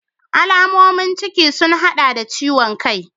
Alamomin ciki sun hada da ciwon kai.